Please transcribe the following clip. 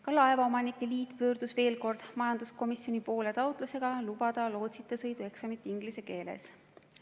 Ka Eesti Laevaomanike Liit pöördus veel kord majanduskomisjoni poole taotlusega lubada lootsita sõidu eksamit inglise keeles.